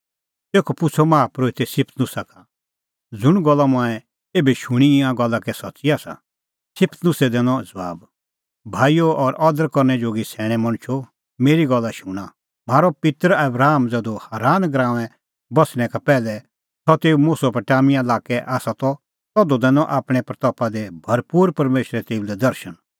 स्तिफनुसै दैनअ ज़बाब भाईओ और अदर करनै जोगी सैणैं मणछो मेरी गल्ला शूणां म्हारअ पित्तर आबराम ज़धू हारान गराऊंऐं बस्सणै का पैहलै सह तेऊ मेसोपोटामिया लाक्कै त तधू दैनअ महिमां दी भरपूर परमेशरै तेऊ लै दर्शण